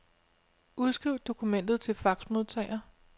Udskriv dokumentet til faxmodtager.